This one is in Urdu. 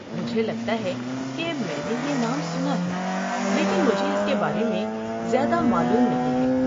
مجھے لگتا ہے کہ میں نے یہ نام سنا ہے، لیکن مجھے اس کے بارے میں زیادہ معلوم نہیں ہے۔